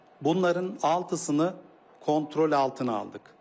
Bunların altısını kontrol altına aldıq.